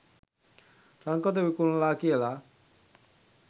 රන් කොත විකුණලා කියලා.